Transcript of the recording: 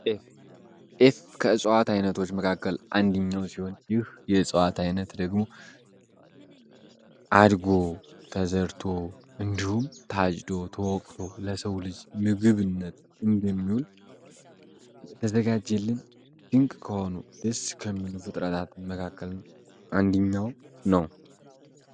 ጤፍ ከእጸዋት ዓይነቶች መካከል አንድኛው ሲሆን ይህ የእጸዋት ዓይነት ደግሞ አድጎ ተዘርቶ እንዲሁም ታጅዶ ተወቅቶ ለሰው ልጅ ምግብነት እንደሚውል የተዘጋጀልም ድንቅ ከሆኑ ደስ ከሚሉ ፍጥረታትን መካከልን አንድኛው ነው፡፡